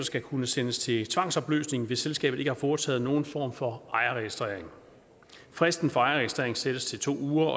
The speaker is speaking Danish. skal kunne sendes til tvangsopløsning hvis selskabet ikke har foretaget nogen form for ejerregistrering fristen for ejerregistrering sættes til to uger